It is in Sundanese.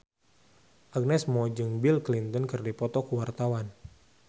Agnes Mo jeung Bill Clinton keur dipoto ku wartawan